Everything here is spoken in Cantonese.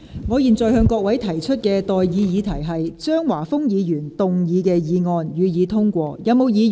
我現在向各位提出的待議議題是：張華峰議員動議的議案，予以通過。